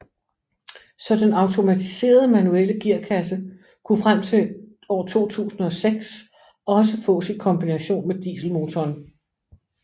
Så den automatiserede manuelle gearkasse kunne frem til 2006 også fås i kombination med dieselmotoren